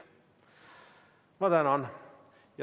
Ma tänan!